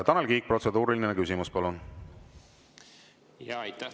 Tanel Kiik, protseduuriline küsimus, palun!